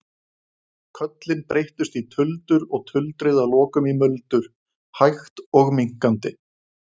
Köllin breyttust í tuldur og tuldrið að lokum í muldur, hægt og minnkandi.